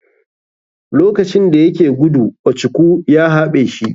Lokacin dayake gudu ochukwu ya haɓe shi.